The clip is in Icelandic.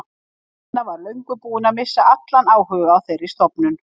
Lena var löngu búin að missa allan áhuga á þeirri stofnun.